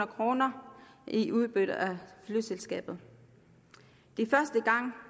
kroner i udbytte af flyselskabet det er første gang